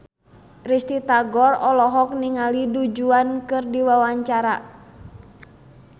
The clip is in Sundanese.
Risty Tagor olohok ningali Du Juan keur diwawancara